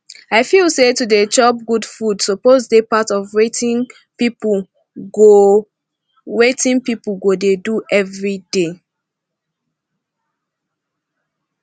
i feel say to dey chop good food suppose dey part of wetin people go wetin people go dey do every day